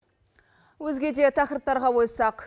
өзге де тақырыптарға қойсақ